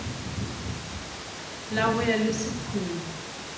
la ho ya le sephume